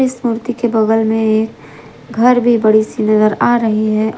इस मूर्ति के बगल में ये घर भी बड़ी सी नजर आ रही है।